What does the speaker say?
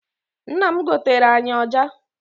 Nna m goteere anyị ọja.